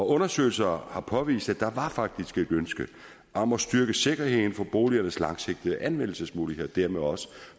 undersøgelser har påvist at der faktisk var et ønske om at styrke sikkerheden for boligernes langsigtede anvendelsesmuligheder og dermed også